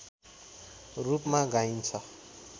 रूपमा गाइन्छ